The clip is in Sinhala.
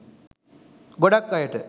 ගොඩාක් අයට